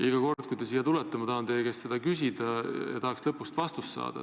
Iga kord, kui te siia tulete, ma tahan teie käest seda küsida ja tahaks lõpuks vastust saada.